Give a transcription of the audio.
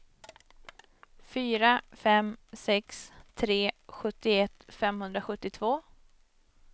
fyra fem sex tre sjuttioett femhundrasjuttiotvå